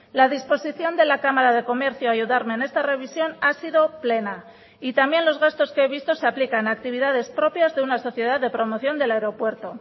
la disposición de la cámara de comercio a ayudarme en esta revisión ha sido plena y también los gastos que he visto se aplican a actividades propias de una sociedad de promoción del aeropuerto